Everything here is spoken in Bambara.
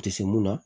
A tɛ se mun na